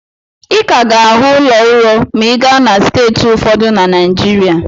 Ị ka ga-ahụ ụlọ ụrọ ma ị gaa na steeti ụfọdụ na Naịjirịa.